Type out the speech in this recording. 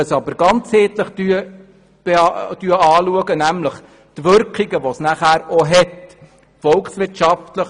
Betrachten wir aber gesamtheitlich die volkswirtschaftlichen Wirkungen, die daraus entstehen, wird der Mehrpreis längstens kompensiert.